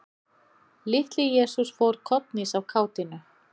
Litli-Jesús fór kollhnís af kátínu.